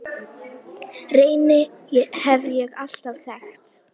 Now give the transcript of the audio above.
Reyni hef ég alltaf þekkt.